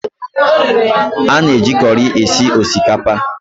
A na-eji kọri esi osikapa